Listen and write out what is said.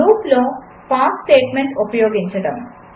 లూపులో pass statement ఉపయోగించడం